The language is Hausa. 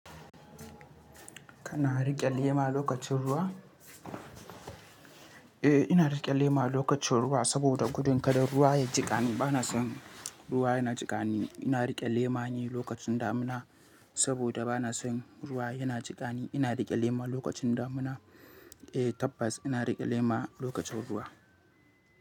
Kana riƙe lema lokacin ruwa? Eh, ina riƙe lema lokacin ruwa saboda gudun kada ruwa ya jiƙani. Bana son ruwa yana jiƙani. Ina riƙe lema ne lokacin damina saboda bana son ruwa yana jiƙani. Ina riƙe lema lokacin damina. Eh tabbas ina riƙe lema lokacin ruwa.